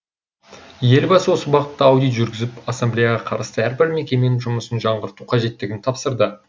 елбасы осы бағытта аудит жүргізіп ассамблеяға қарасты әрбір мекеменің жұмысын жаңғырту қажеттігін тапсырды